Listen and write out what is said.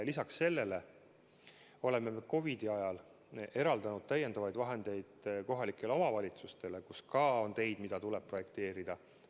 Lisaks sellele oleme COVID-i ajal eraldanud täiendavaid vahendeid kohalikele omavalitsustele, kus ka on teid, mida tuleb projekteerida.